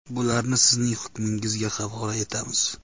Bularni sizning hukmingizga havola etamiz.